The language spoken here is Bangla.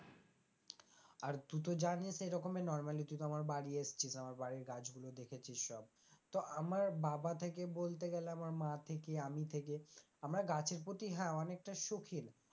আর তুই তো জানিস, এইরকমই normally তুই তো আমার বাড়ি এসেছিস, আমার বাড়ির গাছগুলো দেখেছিস সব তো আমার বাবা থেকে বলতে গেলে আমার মা থেকে আমি থেকে আমরা গাছের প্রতি হ্যাঁ অনেকটা সখিন,